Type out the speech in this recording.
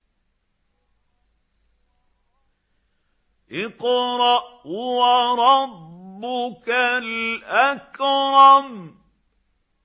اقْرَأْ وَرَبُّكَ الْأَكْرَمُ